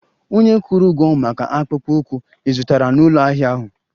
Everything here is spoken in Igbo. Ònye kwụrụ ụgwọ maka akpụkpọ ụkwụ ị zụtara n'ụlọ ahịa ahụ?